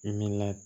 Min na